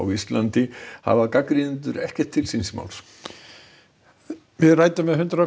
landi hafa gagnrýnendur ekkert til síns máls við ræddum við hundrað og